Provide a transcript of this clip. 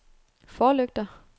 forlygter